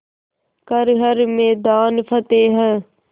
कर हर मैदान फ़तेह